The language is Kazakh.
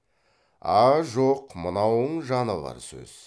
а жоқ мынауың жаны бар сөз